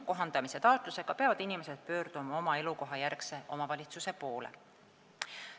Kohandamise taotlusega peavad inimesed pöörduma oma elukohajärgse omavalitsuse poole.